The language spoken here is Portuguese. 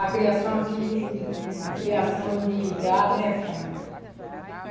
A criação aqui de de de criação de gado é fraca.